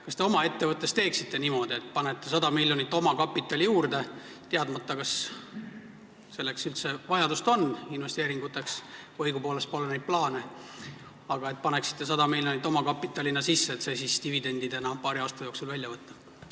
Kas te oma ettevõttes teeksite niimoodi, et panete 100 miljonit omakapitali juurde, teadmata, kas investeeringuteks üldse vajadust on või õigupoolest pole neid plaane, aga paneksite 100 miljonit omakapitalina sisse, et see siis dividendina paari aasta jooksul välja võtta?